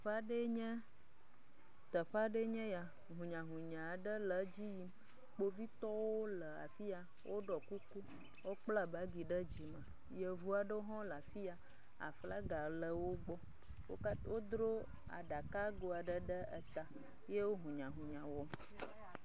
Exɔ aɖee, teƒe aɖee nye eya, hunyahunya aɖe le edzi yim, kpovitɔwo le afi ya wokpla bagi ɖe dzi woɖɔ kuku, yevu aɖewoe hã wole afi ya aflaga le wo gbɔ wodro aɖakago ɖe ta yewo hunyahunya wɔm.